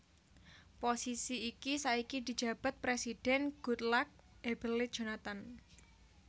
Posisi iki saiki dijabat Présidhèn Goodluck Ebele Jonathan